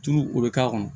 Tulu o bɛ k'a kɔnɔ